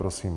Prosím.